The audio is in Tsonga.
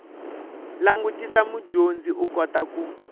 langutisa mudyondzi u kota ku